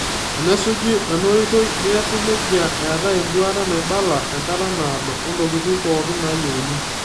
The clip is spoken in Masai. Tenasuji ena oitoi, neasi nejia eetaii enduata naibala, enkata naado, oontokiting' pookin nayeuni.